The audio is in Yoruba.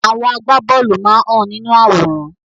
Àwọn agbá bóòlù máa hàn nínú àwòrán.